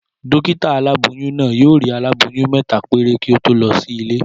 Dókítà aláboyún náà yóò rí aláboyún mẹ́ta péré kí ó tó lọ sílé